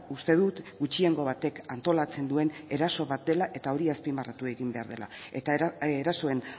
uste dut gutxiengo batek antolatzen duen eraso bat dela eta hori azpimarratu egin behar dela eta erasoen